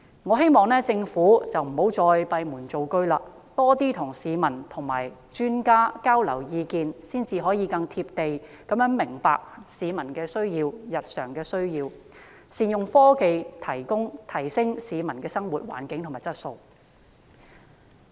我希望政府不要再閉門造車，而應多與市民和專家交流意見，才能夠更"貼地"明白市民的日常需要，善用科技提升市民的生活環境和質素。